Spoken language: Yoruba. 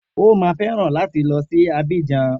O má fẹ́ràn láti lọ sí Abidjan